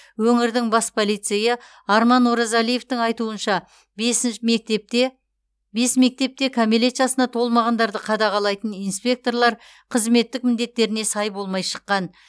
өңірдің бас полицейі арман оразалиевтің айтуынша бесінші мектепте бес мектепте кәмелет жасына толмағандарды қадағалайтын инспекторлар қызметтік міндетттеріне сай болмай шыққан